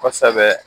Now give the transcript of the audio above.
Kosɛbɛ